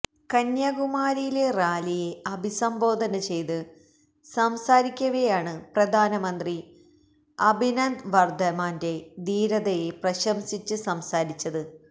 കന്യാകുമാരിയിലെ റാലിയെ അഭിസംബോധന ചെയ്ത് സംസാരിക്കവേയാണ് പ്രധാന മന്ത്രി അഭിനന്ദന് വര്ദ്ധമാന്റെ ധീരതയെ പ്രശംസിച്ച് സംസാരിച്ചത്